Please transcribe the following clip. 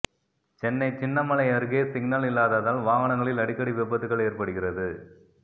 சென்னை சின்னமலை அருகே சிக்னல் இல்லாததால் வாகனங்களில் அடிக்கடி விபத்துகள் ஏற்படுகிறது